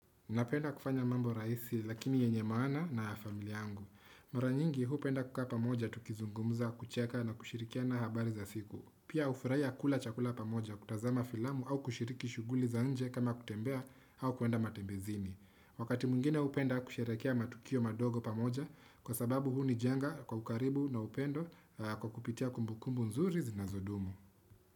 Napenda kufanya mambo rahisi lakini yenye maana na ya familia yangu. Mara nyingi hupenda kukaa pamoja tukizungumuza kucheka na kushirikiana habari za siku. Pia hufurahia kula chakula pamoja kutazama filamu au kushiriki shuguli za nje kama kutembea au kuenda matembezini. Wakati mwingine hupenda kusherehekea matukio madogo pamoja kwa sababu huu ni jenga kwa ukaribu na upendo kwa kupitia kumbukumbu nzuri na zinazodumu.